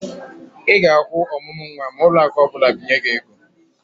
Ị ga-akwụ ọmụmụ nwa ma ụlọakụ ọbụla binye gị ego.